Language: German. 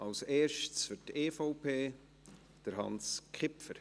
Als erster, für die EVP, Hans Kipfer.